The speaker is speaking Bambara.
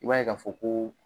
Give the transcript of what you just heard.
I b'a ye ka fɔ ko